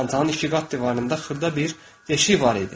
Çantanın iki qat divarında xırda bir deşik var idi.